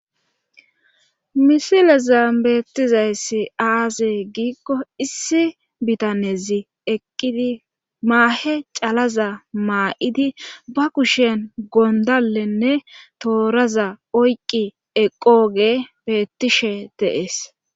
Misileza beettizayssi aaze giikko issi bitanezi eqqidi maahe calaza maa'idi ba kushen gondalenne tooraza oyqqi eqqooge beettishe deees